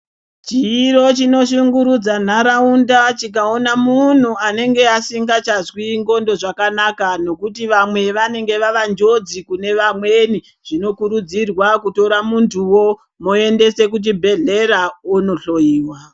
Chiro chinoshungurudza ntaraunda tikaona muntu unenge asingachazwi ndxondo zvakanaka nekuti vamwe vanenge vavanjodzi kune vamweni zvinokurudzirwa muntuwo moendesa kuchibhehlera ondohloyiwa.